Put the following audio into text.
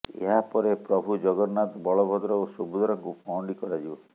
ଏହା ପରେ ପ୍ରଭୁ ଜଗନ୍ନାଥ ବଳଭଦ୍ର ଓ ସୁଭଦ୍ରାଙ୍କୁ ପହଣ୍ଡି କରାଯିବ